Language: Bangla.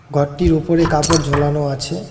ঘরটির উপরে কাপড় ঝোলানো আছে।